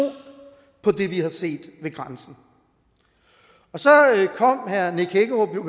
på det vi har set ved grænsen så kom herre nick hækkerup